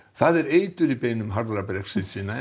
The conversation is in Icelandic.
það er eitur í beinum harðra Brexit sinna en